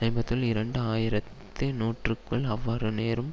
ஐம்பதுல் இருந்து இரண்டாயிரத்தி நூற்றுக்குள் அவ்வாறு நேரும்